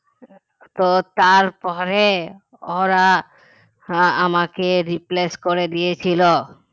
তো তার পরে ওরা আমাকে replace করে দিয়েছিলো